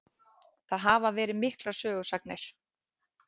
Það hafa verið miklar sögusagnir.